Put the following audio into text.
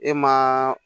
E ma